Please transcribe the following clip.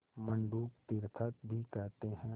मंडूक तीर्थक भी कहते हैं